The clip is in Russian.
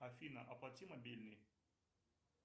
афина оплати мобильный